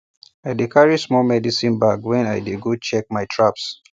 i dey carry small medicine bag when i dey go check my traps